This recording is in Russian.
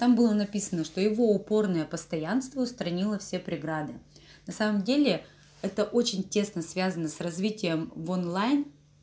там было написано что его упорная постоянство устранила все преграды на самом деле это очень тесно связано с развитием в онлайн